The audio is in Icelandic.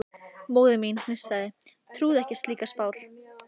Fólk stóð og reyndi að veifa bílum, hrópaði og blístraði.